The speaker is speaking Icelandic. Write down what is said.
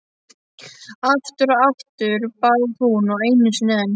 Aftur og aftur, bað hún og einu sinni enn.